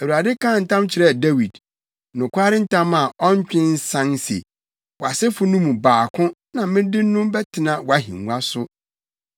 Awurade kaa ntam kyerɛɛ Dawid, nokware ntam a ɔntwe nsan se, “Wʼasefo no mu baako na mede no bɛtena wʼahengua so.